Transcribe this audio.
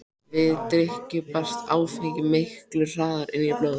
Við drykkju berst áfengi miklu hraðar inn í blóðið.